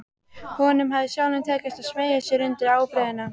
Honum hafði sjálfum tekist að smeygja sér undir ábreiðuna.